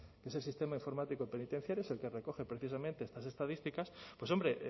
que es el sistema informático penitenciario es el que recoge precisamente estas estadísticas pues hombre